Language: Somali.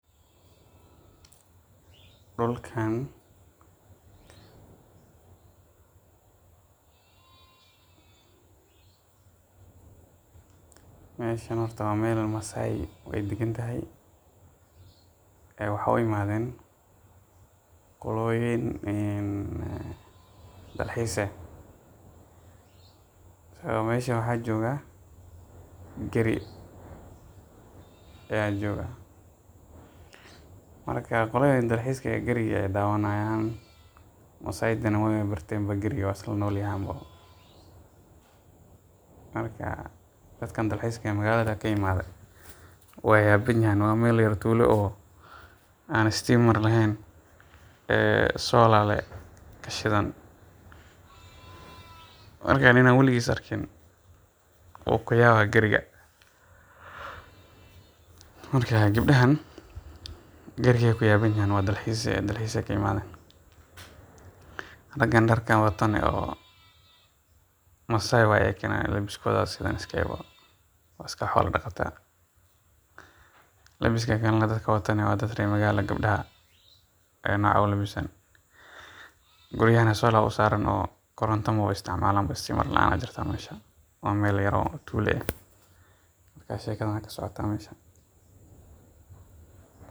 Dulkaan, meeshan horta waa meel masaay aay dagan tahay waxaa u imaadeen qoloyin dalxiis ah meeshan waxaa jooga geri, marka qaladaan dalxiiska ah geriga ayeey dawani haayan masaaydana waayba barteen geriga waay isla noolyahaan marka dadkan dalxiiska magalada kaimaade waay yaban yihiin waa meel yar tuulo eh istiima leheen, solar lee kashidan, marka nin aan weligiis arkin wuu ku yaaba geriga marka gabdahan geeriga ayeey ku yaaban yihiin, dalxiis ayeey ka imaadeen ragaan darkan watona masaay waye ayagana labiskooda ayaa sidan iska ah, waa iska xoola daqata leebiska kale dadka watana waa dad reer magaal ah gabdaha noocas ulabisan, guryahan solar ayaa usaaran oo koronta maba isticmaalan istiima laan ayaa jirto meesha, waa meel yar oo tuulo eh.